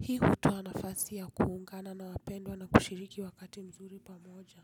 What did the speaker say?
Hii hutoa nafasi ya kuungana na wapendwa na kushiriki wakati mzuri pamoja.